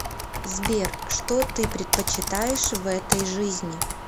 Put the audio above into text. сбер что ты предпочитаешь в этой жизни